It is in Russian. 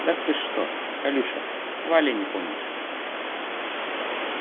да ты что колюша вали не помнишь